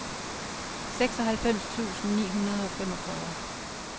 seksoghalvfems tusind ni hundrede og femogfyrre